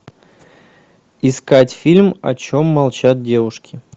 искать фильм о чем молчат девушки